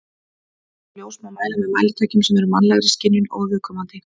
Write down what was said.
Hljóð og ljós má mæla með mælitækjum sem eru mannlegri skynjun óviðkomandi.